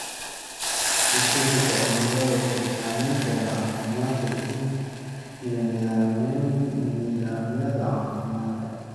Isbedelka cimilada wuxuu saameyn karaa caafimaadka guud iyo nidaamyada caafimaadka.